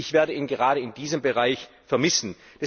Ich werde ihn gerade in diesem Bereich vermissen.